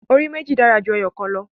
Orí méjì dára ju ẹyọ̀kan lọ.